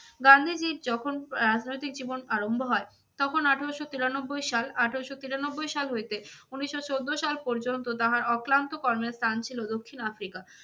গান্ধীজীর যখন আহ রাজনৈতিক জীবন আরম্ভ হয় তখন আঠেরোশো তিরানব্বই সাল, আঠেরোশো তিরানব্বই সাল হইতে উনিশশো চোদ্দ সাল পর্যন্ত তাহার অক্লান্ত কর্মের স্থান ছিল দক্ষিণ আফ্রিকা।